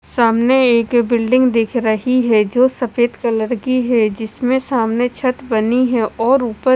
सामने एक बिल्डिंग दिख रही है जो सफ़ेद कलर की है जिसमे सामने छत बनी हुई है और ऊपर--